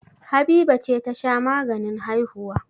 Habiba ce ta sha maganin haihuwa.